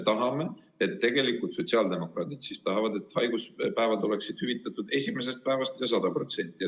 Meie, sotsiaaldemokraadid tahame, et haiguspäevad oleksid hüvitatud esimesest päevast alates ja 100% ulatuses.